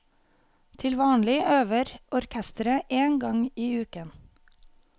Til vanlig øver orkesteret én gang i uken.